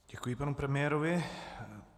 Děkuji panu premiérovi.